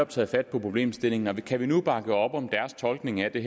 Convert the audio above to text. taget fat på problemstillingen og kan vi nu bakke op om deres tolkning af det